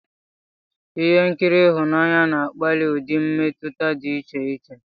Ihe nkiri ịhụnanya na-akpáli ụdị mmetụta dị iche iche.